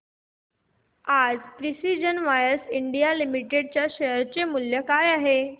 आज precision wires India limited च्या share चे मूल्य काय आहे